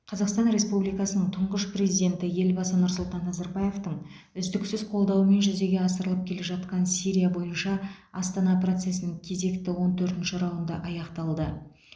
қазақстан республикасының тұңғыш президенті елбасы нұрсұлтан назарбаевтың үздіксіз қолдауымен жүзеге асырылып келе жатқан сирия бойынша астана процесінің кезекті он төртінші раунды аяқталды